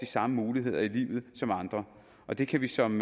samme muligheder i livet som andre og det kan vi som